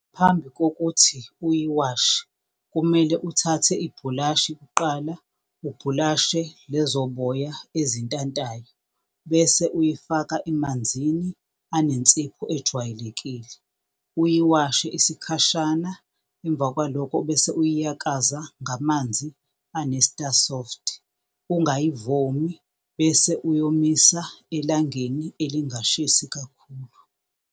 Phambi kokuthi uyiwashe kumele uthathe ibhulashi kuqala ubhulashe lezo boya ezintantayo bese uyifaka emanzini anensipho ejwayelekile, uyiwashe isikhashana emva kwaloko bese uyiyakaza ngamanzi ane-Sta-Soft. Ungayivomi, bese uyomisa elangeni elingashisi kakhulu.